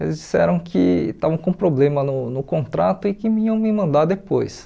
Eles disseram que estavam com problema no no contrato e que iam me mandar depois.